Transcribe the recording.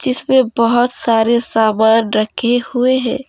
जिसमें बहुत सारे सामान रखें हुए हैं।